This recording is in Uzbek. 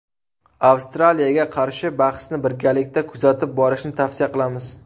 Avstraliyaga qarshi bahsni birgalikda kuzatib borishni tavsiya qilamiz!